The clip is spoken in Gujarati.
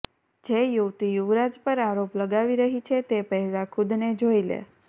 જે યુવતી યુવરાજ પર આરોપ લગાવી રહી છે તે પહેલા ખુદને જોઇ લે